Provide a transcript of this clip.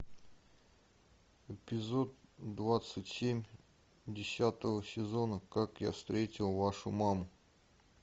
эпизод двадцать семь десятого сезона как я встретил вашу маму